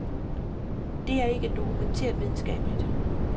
Det er ikke dokumenteret videnskabeligt.